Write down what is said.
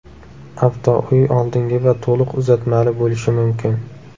Avtouy oldingi va to‘liq uzatmali bo‘lishi mumkin.